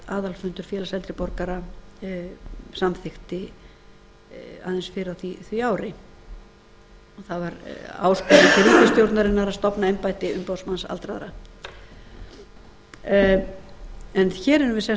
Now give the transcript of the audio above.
aðalfundur félags eldri borgara samþykkti aðeins fyrr á því ári það var áskorun til ríkisstjórnarinnar að stofna embætti umboðsmanns aldraðra hér erum við sem sagt